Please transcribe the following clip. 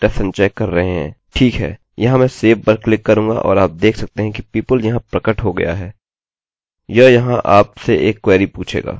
ठीक है यहाँ मैं save पर क्लिक करूँगा और आप देख सकते हैं कि people यहाँ प्रकट हो गया है